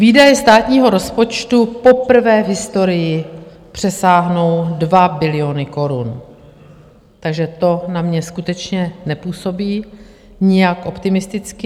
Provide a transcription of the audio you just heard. Výdaje státního rozpočtu poprvé v historii přesáhnou 2 biliony korun, takže to na mě skutečně nepůsobí nijak optimisticky.